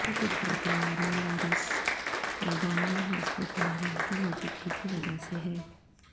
یہ قدرتی عوامل اور اس میدان میں مضبوط ماہرین کی موجودگی کی وجہ سے ہے